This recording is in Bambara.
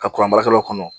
Ka kuran baarakɛlaw kɔnɔ